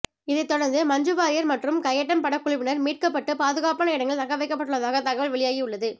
இதைத் தொடர்ந்து மஞ்சு வாரியர் மற்றும் கயட்டம் படக்குழுவினர் மீட்கப்பட்டு பாதுகாப்பான இடங்களில் தங்க வைக்கப்பட்டுள்ளதாக தகவல் வெளியாகி உள்ளது